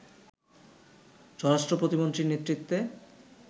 স্বরাষ্ট্র প্রতিমন্ত্রীর নেতৃত্বে